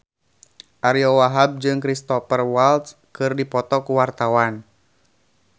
Ariyo Wahab jeung Cristhoper Waltz keur dipoto ku wartawan